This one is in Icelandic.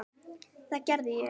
Og það gerði ég.